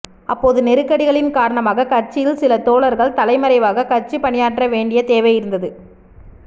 அப்போது நெருக்கடிகளின் காரணமாகக் கட்சியில் சில தோழர்கள் தலைமறைவாக கட்சிப் பணியாற்ற வேண்டிய தேவை இருந்தது